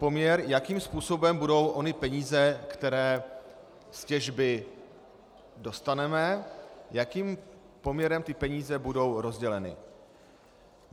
Poměr, jakým způsobem budou ony peníze, které z těžby dostaneme, jakým poměrem ty peníze budou rozděleny.